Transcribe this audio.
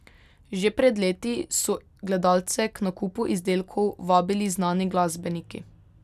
Že pred leti so gledalce k nakupu izdelkov vabili znani glasbeniki.